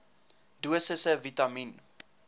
dosisse vitamien